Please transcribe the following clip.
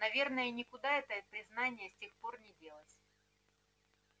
наверное никуда это признание с тех пор не делось